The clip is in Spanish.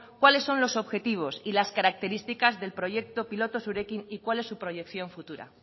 cuáles son los objetivos y las características del proyecto piloto zurekin y cuál es su proyección futura